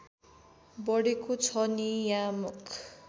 बढेको छ नियामक